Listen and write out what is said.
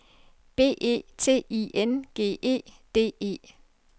B E T I N G E D E